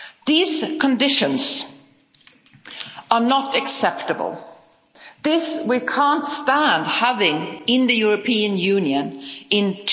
These conditions are not acceptable, this we can't stand having in the European Union in